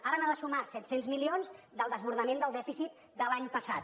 ara n’ha de sumar set cents milions del desbordament del dèficit de l’any passat